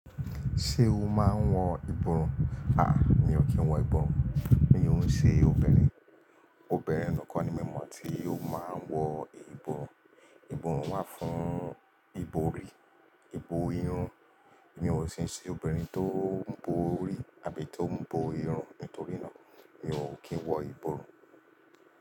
Ṣé o máa ń wọ ìbòrùn? À, mi ò kí ń wọ ìbòrùn. Mi òun ṣe obìnrin, obìnrin nìkan ni mo mọ̀ tí yóò máa wọ ìbòrùn. Ìbòrùn wà fún ìbòrí, ìbò irun. Èmi ò sì ń ṣe obìnrin tó ń bori àbí tò ń bọ irun, nítorí náà mi ò kí ń wọ ìbòrùn.